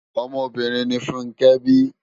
Òmò óbìrín ni Funke bi